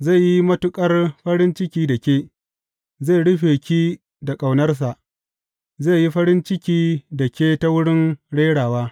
Zai yi matuƙar farin ciki da ke, zai rufe ki da ƙaunarsa, zai yi farin ciki da ke ta wurin rerawa.